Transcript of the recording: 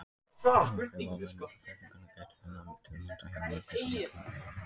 Áhrifa menningarbyltingarinnar gætir enn, til að mynda hjá mörgum sem kenna sig við Maóisma.